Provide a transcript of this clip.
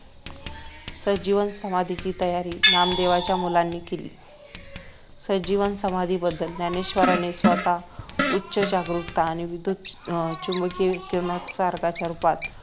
संजीवन समाधीची तयारी नामदेवांच्या मुलांनी केली संजीवन समाधीबद्दल ज्ञानेश्वरांनी स्वतः उच्च जागरूकता आणि अं विधुत चुंबकीय किरणोत्सर्गाच्या रूपात